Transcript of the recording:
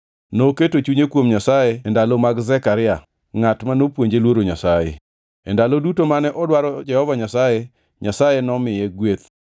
Noketo chunye kuom Nyasaye e ndalo mag Zekaria, ngʼat ma nopuonje luoro Nyasaye. E ndalo duto mane odwaro Jehova Nyasaye, Nyasaye nomiye gweth.